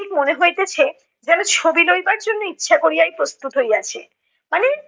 ঠিক মনে হইতেছে, যেনো ছবি লইবার ইচ্ছা করিয়াই প্রস্তুত হইয়াছে। মানে